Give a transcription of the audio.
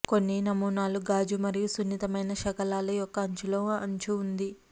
కొన్ని నమూనాలు గాజు మరియు సున్నితమైన శకలాలు యొక్క అంచులో అంచు ఉంది